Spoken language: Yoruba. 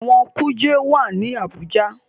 Ẹ̀wọ̀n kuje wá ní Abuja.